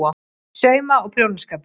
SAUMA- OG PRJÓNASKAPUR